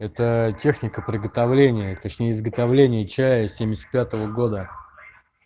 это техника приготовления точнее изготовление чая с семьдесят пятого года